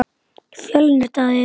Fjölnir Daði.